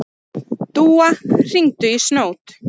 Dúa, hringdu í Snót.